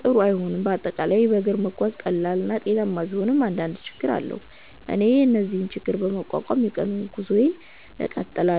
ጥሩ አይሆንም፤ በአጠቃላይ በእግር መጓዝ ቀላል እና ጤናማ ቢሆንም አንዳንድ ችግኝ አለው። እኔ ግን እነዚህን ችግኝ በመቋቋም የቀኑን ጉዞዬን እቀጥላለሁ።